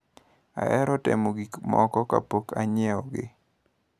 Ahero temo gikmoko kapok anyiewogi.